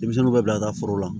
Denmisɛnninw bɛ bila ka taa foro la